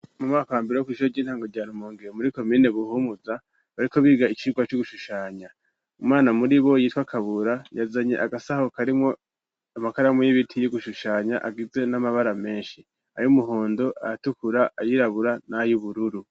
mu mwaka wa mbere wo kw,isushure ry'intango rya rumonge muri komine buhumuza bariko biga icirwa cugushushanya umwana muri bo yitwa kabura yazanye agasaho karimwo amakaramu y'ibiti yo gushushanya agizwe n'amabara menshi ayo umuhondo ayatukura ayirabura n'ay ubururu